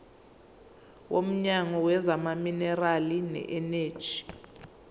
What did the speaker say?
womnyango wezamaminerali neeneji